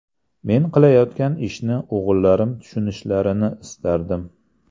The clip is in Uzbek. Men qilayotgan ishni o‘g‘illarim tushunishlarini istardim.